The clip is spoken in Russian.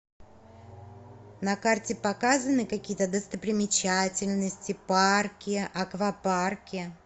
на карте показаны какие то достопримечательности парки аквапарки